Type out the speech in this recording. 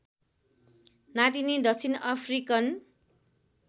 नातिनी दक्षिण अफ्रिकन